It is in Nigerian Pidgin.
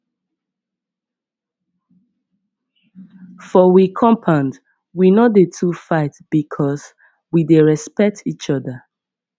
for we compound we no dey too fight because we dey respect each oda